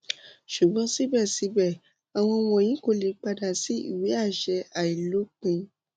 ṣugbọn sibẹsibẹ awọn wọnyi ko le pada si iwe aṣẹ ailopin